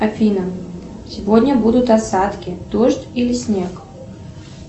афина сегодня будут осадки дождь или снег